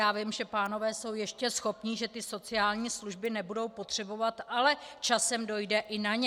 Já vím, že pánové jsou ještě schopní, že ty sociální služby nebudou potřebovat, ale časem dojde i na ně.